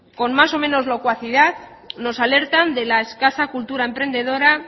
con más o menos locuacidad nos alertan de la escasa cultura emprendedora